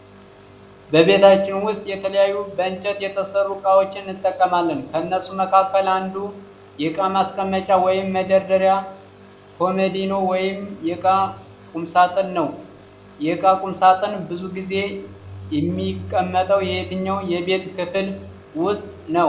በቤታችን ውስጥ የተለያዩ በእንጨት የተሰሩ እቃዎችን እንጠቀማለን። ከነሱም መካከል አንዱ የእቃ ማስቀመጫ ወይም መደርደሪያ ኮመዲኖ ወይም የእቃ ቁምሳጥን ነው። የእቃ ቁምሳጥን ብዙ ጊዜ ሚቀመጠው የትኛው የቤት ክፍል ውስጥ ነው?